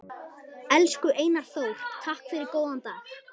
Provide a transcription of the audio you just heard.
Elsku Einar Þór, takk fyrir góðan dag.